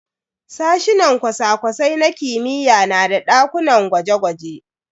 Sashinan cosa-cosai na kimiyya na da dakunan gwaje-gwaje.